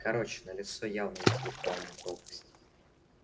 короче налицо явная интеллектуальная пропасть